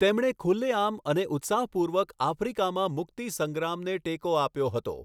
તેમણે ખુલ્લેઆમ અને ઉત્સાહપૂર્વક આફ્રિકામાં મુક્તિ સંગ્રામને ટેકો આપ્યો હતો.